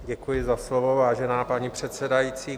Děkuji za slovo, vážená paní předsedající.